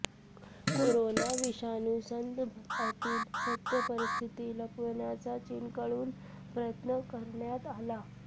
corona विषाणू संदर्भातील सत्य परिस्थिती लपवण्याचा चीनकडून प्रयत्न करण्यात आला